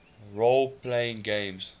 role playing games